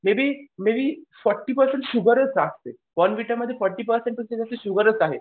Maybe maybe forty percent शुगरच असते. Bournvita मध्ये फोर्टी पर्सेंट तर शुगरच आहे.